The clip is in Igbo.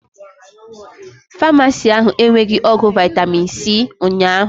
Famasi ahụ enweghi ọgwụ vitami c ụnyaahụ